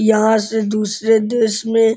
यहां से दूसरे देश में --